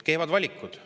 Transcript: Kehvad valikud.